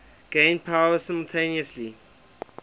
gain power simultaneously